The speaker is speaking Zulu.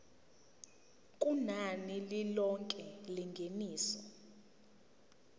kunani lilonke lengeniso